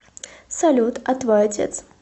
салют а твой отец